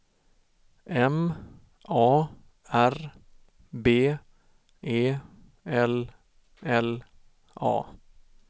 M A R B E L L A